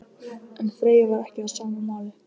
En Freyja var ekki á sama máli.